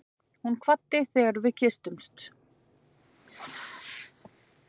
Hún kvaddi þegar við kysstumst.